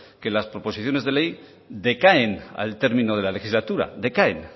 que las proposiciones de ley decaen al término de la legislatura decaen